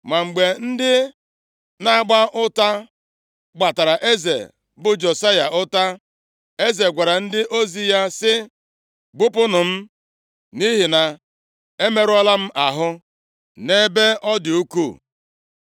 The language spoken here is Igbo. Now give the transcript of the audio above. Ma mgbe ndị nʼagba ụta gbatara eze, bụ Josaya ụta, eze gwara ndị ozi ya sị, “Bupunụ m, nʼihi na emerụọla m ahụ nʼebe ọ dị ukwuu.”